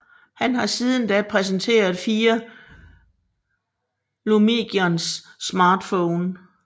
Han har siden da præsenteret fire Lumigon smartphones